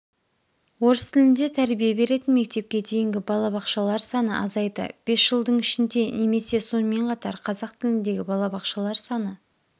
орыс тілінде тәрбие беретін мектепке дейінгі балабақшалар саны азайды бес жылдың ішінде немесе сонымен қатар қазақ тіліндегі балабақшалар саны